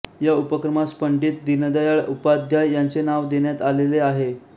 या उपक्रमास पंडित दीनदयाळ उपाध्याय यांचे नाव देण्यात आलेले आहे